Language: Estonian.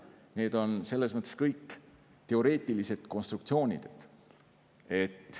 Need on kõik teoreetilised konstruktsioonid.